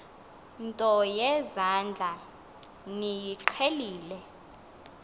nto yezandla niyiqhelile